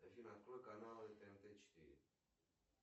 афина открой каналы тнт четыре